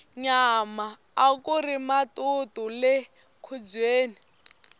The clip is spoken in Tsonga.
nyama akuri matutu le nkhubyeni